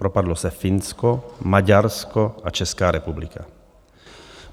Propadlo se Finsko, Maďarsko a Česká republika.